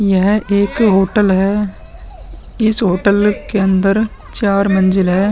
यह एक होटल है इस होटल के अंदर चार मंजिल है।